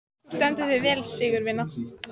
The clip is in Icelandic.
Þú stendur þig vel, Sigurvina!